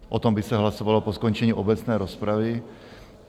O tom by se hlasovalo po skončení obecné rozpravy.